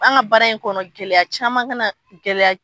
An ka baara in kɔnɔ gɛlɛya caman ka na, gɛlɛya